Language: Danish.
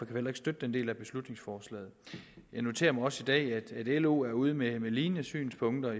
vi heller ikke støtte den del af beslutningsforslaget jeg noterer mig også i dag at lo er ude med lignende synspunkter